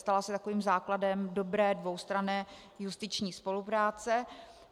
Stala se takovým základem dobré dvoustranné justiční spolupráce.